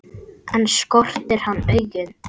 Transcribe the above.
Ekki skortir hann augun.